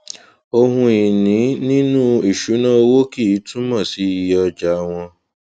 ohunìní nínú ìṣúná owó kì í túmọ sí iye ọjà wọn